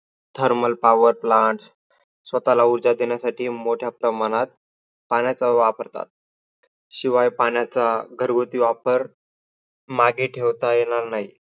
Thermal power plants स्वतःला उर्जा देण्यासाठी मोठ्या प्रमाणात पाण्याचा वापरतात. शिवाय पाण्याचा घरगुती वापर मागे ठेवता येणार नाही.